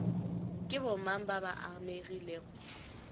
ke bomang ba ba amegilego